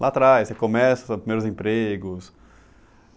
Lá atrás, você começa, os seus primeiros empregos.